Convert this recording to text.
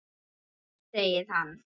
Ha? segir hann.